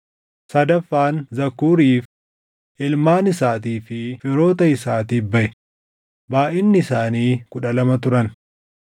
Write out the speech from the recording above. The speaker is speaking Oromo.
sadaffaan Zakuuriif, // ilmaan isaatii fi firoota isaatiif baʼe; // baayʼinni isaanii kudha lama turan